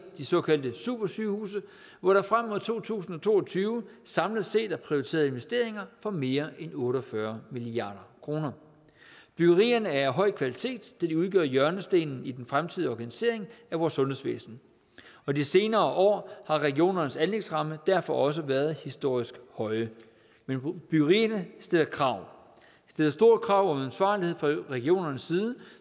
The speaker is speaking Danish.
såkaldte supersygehuse hvor der frem mod to tusind og to og tyve samlet set er prioriteret investeringer for mere end otte og fyrre milliard kroner byggerierne er af høj kvalitet da de udgør hjørnestenen i den fremtidige organisering af vores sundhedsvæsen og de senere år har regionernes anlægsrammer derfor også været historisk høje men byggerierne stiller krav stiller store krav om ansvarlighed fra regionernes side